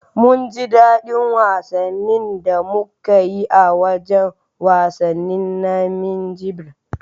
Mun ji dadi wasannin da muka yi a wajan wasannin na Minjibir